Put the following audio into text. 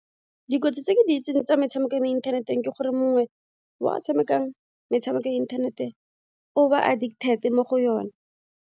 Dikotsi tse ke di itseng tsa metshameko ya mo inthaneteng ke gore mongwe wa tshamekang metshameko ya inthanete o ba addicted mo go yone.